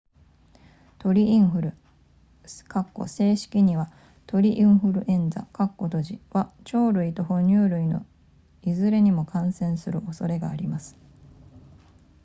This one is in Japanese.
鳥インフル正式には鳥インフルエンザは鳥類と哺乳類のいずれにも感染する恐れがあります